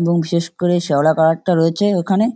এবং বিশেষ করে শ্যাওলা কালার -টা রয়েছে ওইখানে